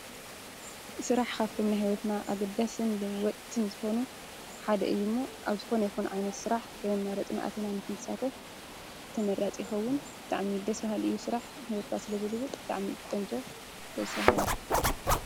ስራሕ ካብቶም ናይ ሂወትና አገዳስን ለወጥትን ዝኮኑ ሓደ እዩ ሞ አብ ዝኮነ ይኩን ዓይነት ስራሕ ከየማረፅና አቲና ንክንሳተፍ ተመራፂ ይኸውን። ብጣዕሚ ደስ በሃሊ እዩ ። ስራሕ ንሂወትካ ስለዝልውጥ ብጣዕሚ እዩ ቆንጆ። ደስ በሃሊ ።